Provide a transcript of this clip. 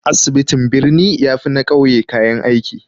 Asibitin birni ya fi na ƙauye kayan aiki